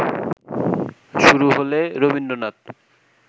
শুরু হলে রবীন্দ্রনাথ